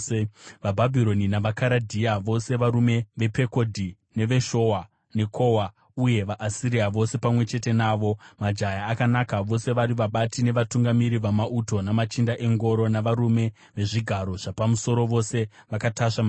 vaBhabhironi navaKaradhea vose, varume vePekodhi neveShowa neKowa, uye vaAsiria vose pamwe chete navo, majaya akanaka, vose vari vabati nevatungamiri vamauto, namachinda engoro navarume vezvigaro zvapamusoro, vose vakatasva mabhiza.